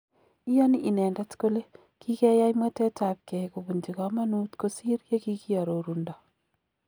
Iyoni inendet kole kigeyai mwetet ab gei kobunji komonuut kosir yekikiororundo.